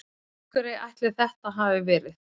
Af hverju ætli það hafi verið?